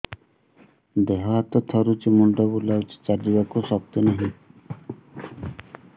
ଦେହ ହାତ ଥରୁଛି ମୁଣ୍ଡ ବୁଲଉଛି ଚାଲିବାକୁ ଶକ୍ତି ନାହିଁ